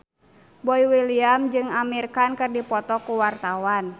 Boy William jeung Amir Khan keur dipoto ku wartawan